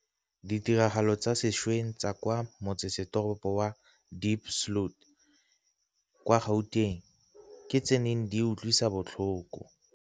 Ditiragalo tsa sešweng tsa kwa motsesetoropo wa Diepsloot kwa Gauteng ke tse di neng di utlwisa botlhoko.